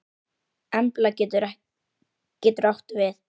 Embla getur átt við